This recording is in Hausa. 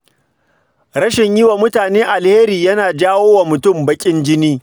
Rashin yi wa mutane alheri yana jawo wa mutum baƙin jin